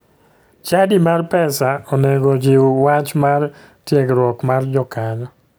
Chadi mar pesa onego jiw wach mar tiegruok mar jokanyo